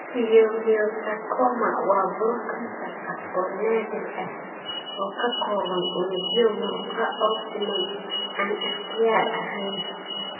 Leiomyosarcoma waa buro kansar ah oo naadir ah oo ka kooban unugyo muruqa oo siman (aan ikhtiyaar ahayn).